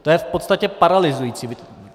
To je v podstatě paralyzující.